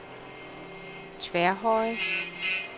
Tværhøje